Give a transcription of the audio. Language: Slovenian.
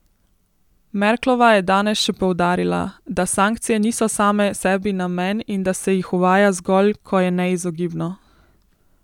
Merklova je danes še poudarila, da sankcije niso same sebi namen in da se jih uvaja zgolj, ko je neizogibno.